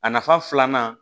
A nafa filanan